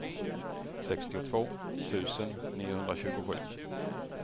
sextiotvå tusen niohundratjugosju